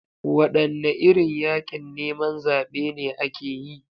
Wadanne irin yakin neman zabe ne ake yi?